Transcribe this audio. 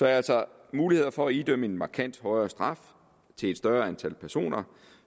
altså mulighed for at idømme en markant højere straf til et større antal personer